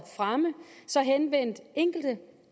fremme henvendte enkelte